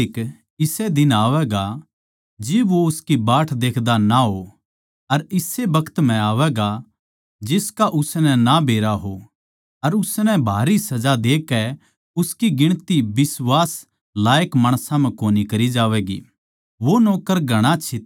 तो उस नौक्कर का माल्लिक इसे दिन आवैगा जिब वो उसकी बाट देख्दा ना हो अर इसे बखत म्ह आवैगा जिसका उसनै ना बेरा हो अर उसनै भारी सजा देकै उसकी गिणती बिश्वास लायक माणसां म्ह कोनी करी जावैगी